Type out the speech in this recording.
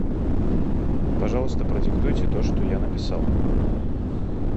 пожалуйста продиктуйте то что я написал